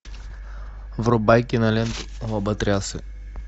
врубай киноленту лоботрясы